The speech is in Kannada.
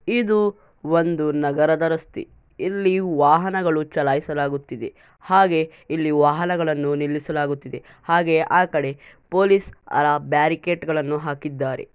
ಇದು ಒಂದು ನಗರದ ರಸ್ತೆ ಇಲ್ಲಿ ವಾಹನಗಳು ಚಲಾಯಿಸಲಾಗುತ್ತಿದೆ. ಹಾಗೆ ಇಲ್ಲಿ ವಾಹನಗಳನ್ನು ನಿಲ್ಲಿಸಲಾಗುತ್ತಿದೆ. ಹಾಗೆ ಆಕಡೆ ಪೊಲೀಸ್ ಆ ಬ್ಯಾರಿಕೇಟ್ ಗಳನ್ನು ಹಾಕಿದ್ದಾರೆ.